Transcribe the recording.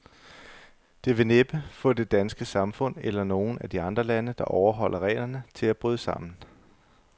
Det vil næppe få det danske samfund, eller nogen af de andre lande, der overholder reglerne, til at bryde sammen.